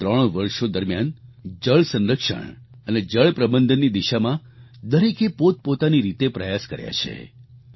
ગત ત્રણ વર્ષો દરમિયાન જળ સંરક્ષણ અને જળપ્રબંધનની દિશામાં દરેકે પોતપોતાની રીતે પ્રયાસ કર્યા છે